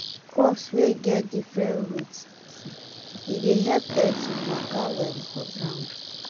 crops wey get different root e dey help air to waka well for ground.